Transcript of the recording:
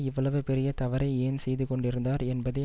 இவ்வளவு பெரிய தவறை ஏன் செய்து கொண்டிருந்தார் என்பதை